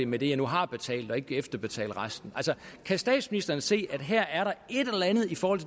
med det jeg nu har betalt og ikke efterbetale resten kan statsministeren se at der her er et eller andet i forhold